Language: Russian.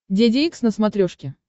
деде икс на смотрешке